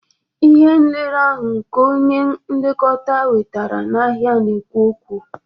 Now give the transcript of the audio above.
Ihe nlere ahụ nke onye nlekọta wetara n'ahịa na-ekwu okwu